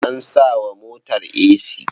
An sa wa motar esi.